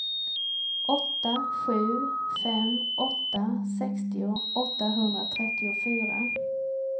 åtta sju fem åtta sextio åttahundratrettiofyra